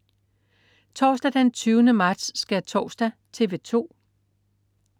Torsdag den 20. marts. Skærtorsdag - TV 2: